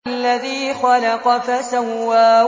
الَّذِي خَلَقَ فَسَوَّىٰ